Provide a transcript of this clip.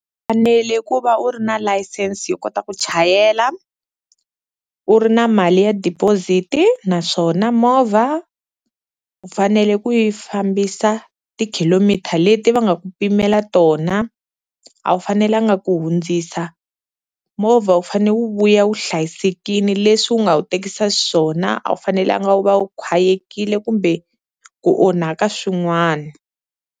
Fanele ku va u ri na license yo kota ku chayela, u ri na mali ya deposit-i naswona movha u fanele ku yi fambisa ti-kilometer leti va nga ku pimela tona, a wu fanelanga ku hundzisa movha wu fanele wu vuya wu hlayisekini leswi u nga wu tekisa xiswona a wu fanelanga wu va wu khwayekile kumbe ku onhaka swin'wana.